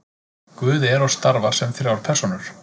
guð er og starfar sem þrjár persónur